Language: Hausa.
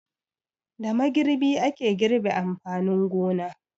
Da magirbi ake girbe amfanin gona.